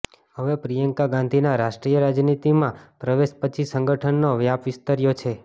હવે પ્રિયંકા ગાંધીનાં રાષ્ટ્રીય રાજનીતિમાં પ્રવેશ પછી સંગઠનનો વ્યાપ વિસ્તર્યો છે